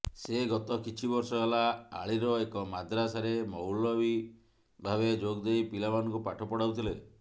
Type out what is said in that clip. ସେ ଗତ କିଛିବର୍ଷ ହେଲା ଆଳିର ଏକ ମଦ୍ରାସାରେ ମୌଲବି ଭାବେ ଯୋଗଦେଇ ପିଲାମାନଙ୍କୁ ପାଠ ପଢ଼ାଉଥିଲେ